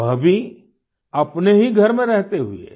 वह भी अपने ही घर में रहते हुये